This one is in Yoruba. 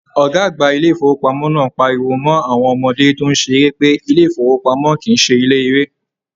"Ọgá àgbà ilé ifowopamọ náà pariwo mọ awọn ọmọdé tó n ṣeré pé ilé ifowopamọ kìí ṣe ilé eré!